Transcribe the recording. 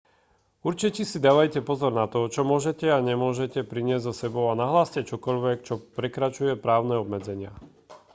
určite si dávajte pozor na to čo môžete a nemôžete priniesť so sebou a nahláste čokoľvek čo prekračuje právne obmedzenia